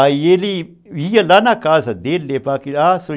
Aí ele ia lá na casa dele